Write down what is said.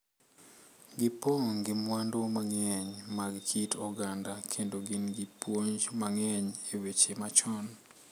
Gipong' gi mwandu mang’eny mag kit oganda kendo gin gi puonj mang’eny e weche machon.